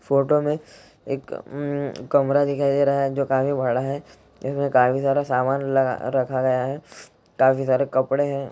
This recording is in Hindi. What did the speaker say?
फोटो में एक कमरा दिखाई दे रहा है जो काफी बड़ा है काफी सारा सामान लगा-- रखा गया है काफी सारे कपडे है।